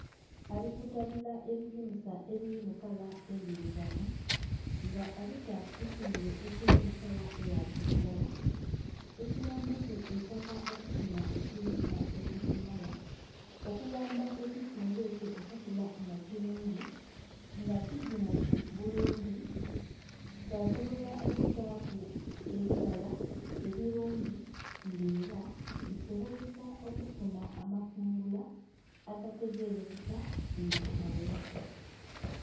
Ali kutabula ebijimusa ebiri mukala endhirugavu nga abita kukisimbe ekiri mukala eya kiragala ekiyambaku eitaka okufuna ekirisa ekibimala okuyamba ekisimbe ekyo okukula nga kirungi nga kijimufu bulungi kyasobola okutaku ebibala ebirungi nga era bisobozesa okufuna amakungula agategerekeka nga gagheraku.